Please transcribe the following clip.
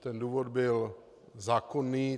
Ten důvod byl zákonný.